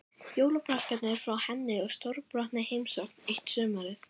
Jólapakkarnir frá henni og stórbrotin heimsókn eitt sumarið.